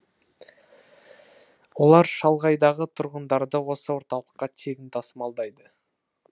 олар шалғайдағы тұрғындарды осы орталыққа тегін тасымалдайды